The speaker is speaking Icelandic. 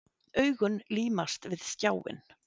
Augun límast við skjáinn.